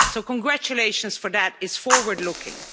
So congratulations, for that is forward looking.